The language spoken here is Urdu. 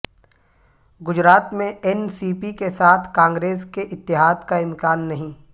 گجرات میں این سی پی کے ساتھ کانگریس کے اتحاد کا امکان نہیں